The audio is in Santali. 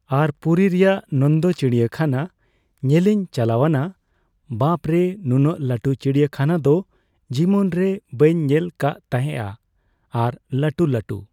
ᱟᱨ ᱯᱩᱨᱤ ᱨᱮᱭᱟᱜ ᱱᱚᱱᱫᱚ ᱪᱤᱲᱤᱭᱟ ᱠᱷᱟᱱᱟ ᱧᱮᱞᱤᱧ ᱪᱟᱞᱟᱣᱱᱟ, ᱵᱟᱯᱨᱮ ᱱᱩᱱᱟᱹᱜ ᱞᱟᱹᱴᱩ ᱪᱤᱲᱤᱭᱟ ᱠᱷᱟᱱᱟ ᱫᱚ ᱡᱤᱵᱚᱱ ᱨᱮ ᱵᱟᱹᱧ ᱧᱮᱞ ᱠᱟᱜ ᱛᱟᱦᱮᱸᱜᱼᱟ ᱾ ᱟᱨ ᱞᱟᱹᱴᱩᱼᱞᱟᱹᱴᱩ